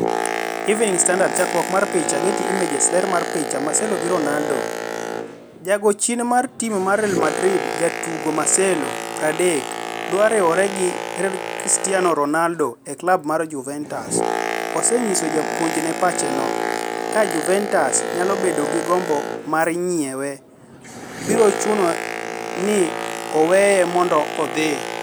(Evening Standard) Chakruok mar picha, Getty Images. Ler mar picha, Marcelo gi Ronaldo. Jago chien mar tim mar Real Madrid jatugo Marcelo, 30, odwa riwore gi Cristiano Ronaldo e klab mar Juventus, ose nyiso japuonjne pache no: "Kaa (Juventus) nyalo bedo gi gombo mar nyiewe, bro chuno u ni uweya mondo adhi".